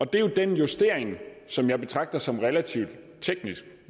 det er jo den justering som jeg betragter som relativt teknisk